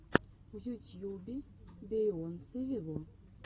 в ютьюбе бейонсе вево